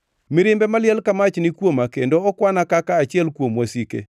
Mirimbe maliel ka mach ni kuoma; kendo okwana kaka achiel kuom wasike.